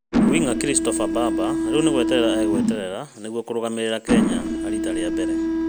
Wing’a Christopher Mbamba rĩu nĩgweterera agweterera nĩguo kũrũgamĩrĩra kenya rĩta rĩa mbere